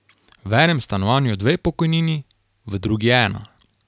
V enem stanovanju dve pokojnini, v drugi ena.